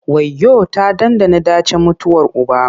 Wayyo! ta ɗanɗana ɗacin mutuwar uba.